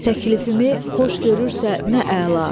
Təklifimi xoş görürsə nə əla.